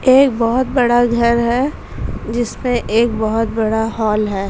एक बहोत बड़ा घर है। जिस पे एक बहोत बड़ा हॉल है।